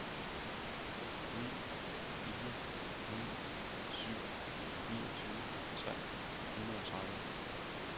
ni fire ni syv niogtyve tre hundrede og tredive